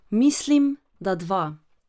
Mislim, da dva.